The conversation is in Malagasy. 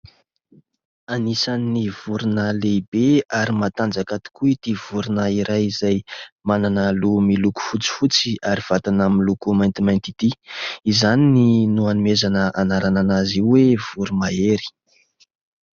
Anisany vorona lehibe ary matanjaka tokoa ity vorona iray izay manana loha miloko fotsifotsy ary vatana miloko maintimainty ity, izany no hanomezana anarana azy io hoe voromahery.